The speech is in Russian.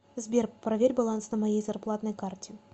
сбер проверь баланс на моей зарплатной карте